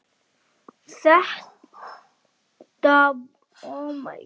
Þetta var orðið normið.